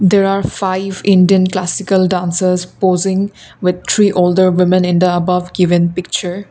there are five Indian classical dancers posing with three older women in the above given picture.